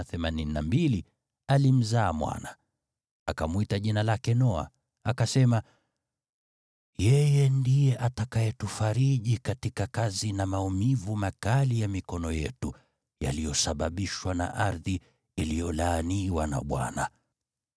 Akamwita jina lake Noa, akasema, “Yeye ndiye atakayetufariji katika kazi na maumivu makali ya mikono yetu yaliyosababishwa na ardhi iliyolaaniwa na Bwana .”